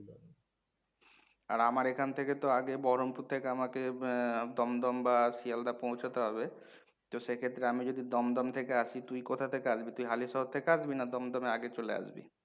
আর আমার এখান থেকে তো আগে বহরমপুর থেকে আমাকে আহ দমদম বা শিয়ালদাহ পৌঁছতে হবে, তো সেক্ষেত্রে আমি যদি দমদম থেকে আসি, তুই কোথা থেকে আসবি? তুই হালিশহর থেকে আসবি না দমদম এ আগে চলে আসবি?